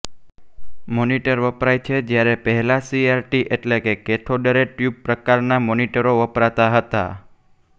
monitor વપરાય છે જ્યારે પહેલાં સી આર ટી એટલે કે કેથોડરેટ્યુબ પ્રકારના મોનિટરો વપરાતા હતા